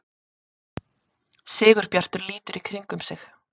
Sigurbjartur lítur í kringum sig.